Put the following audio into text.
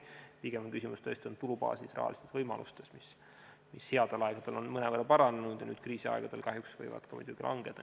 Pigem on küsimus tõesti olnud tulubaasis ja rahalistes võimalustes, mis headel aegadel on mõnevõrra paranenud, aga nüüd kriisiaegadel võivad kahjuks muidugi langeda.